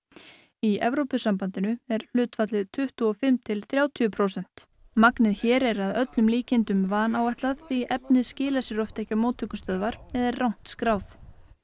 í Evrópusambandinu er hlutfallið tuttugu og fimm til þrjátíu prósent magnið hér er að öllum líkindum vanáætlað því efnið skilar sér oft ekki á móttökustöðvar eða er rangt skráð